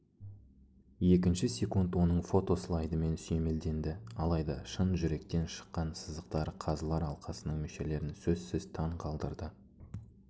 екінші секунд оның фото-слайдымен сүйемелденді алайда шын жүректен шыққан сызықтар қазылар алқасының мүшелерін сөзсіз таң қалдырды